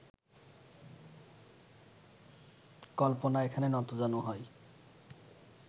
কল্পনা এখানে নতজানু হয়